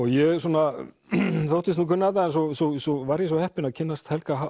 ég þóttist nú kunna þetta en svo var ég svo heppinn að kynnast Helga